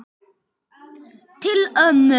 Til ömmu.